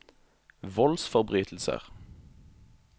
voldsforbrytelser